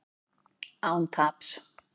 Án taps